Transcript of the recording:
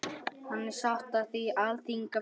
Hann sat á Alþingi fyrir